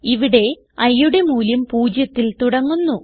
ഇവിടെ iയുടെ മൂല്യം 0ത്തിൽ തുടങ്ങുന്നു